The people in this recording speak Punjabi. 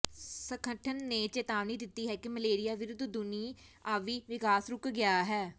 ਸੰਗਠਨ ਨੇ ਚਿਤਾਵਨੀ ਦਿਤੀ ਹੈ ਕਿ ਮਲੇਰੀਆ ਵਿਰੁਧ ਦੁਨੀਆਵੀ ਵਿਕਾਸ ਰੁਕ ਗਿਆ ਹੈ